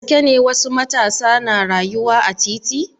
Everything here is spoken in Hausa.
Da gaske ne wasu matasa na rayuwa a titi?